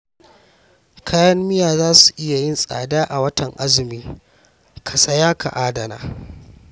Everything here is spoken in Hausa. Kayan miya za su iya yin tsada a watan azumi, ka saya ka adana